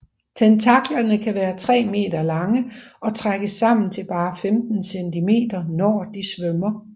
Tentaklerne kan være tre meter lange og trækkes sammen til bare 15 cm når de svømmer